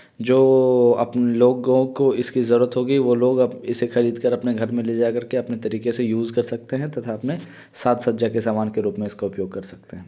जो आप लोगों को इसकी जरूरत होगी वो लोग अब इसे खरीद कर अपने घर में ले जा करके अपने तरीके से यूज़ कर सकते हैं तथा अपने साज सज्जा के समान के रूप में इसका उपयोग कर सकते हैं।